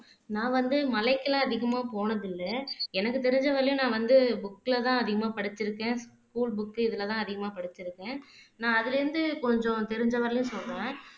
நான் வந்து மலைக்குலாம் அதிகமா போனதில்ல எனக்கு தெரிஞ்ச வரையிலும் நான் வந்து புக்ஸ்ல தான் அதிகமா படிச்சுருக்கேன் ஸ்கூல் புக்கு இதுல தான் அதிகமா படிச்சுருக்கேன் நான் அதுல இருந்து கொஞ்சம் தெரிஞ்ச வரையிலும் சொல்றேன்